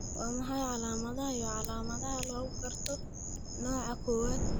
Waa maxay calaamadaha iyo calaamadaha lagu garto nooca kowaad ee lipodystrophy guud ee lagu dhasho?